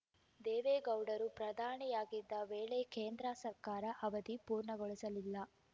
ದೇವೇಗೌಡರು ಪ್ರಧಾನಿಯಾಗಿದ್ದ ವೇಳೆ ಕೇಂದ್ರ ಸರ್ಕಾರ ಅವಧಿ ಪೂರ್ಣಗೊಳಿಸಲಿಲ್ಲ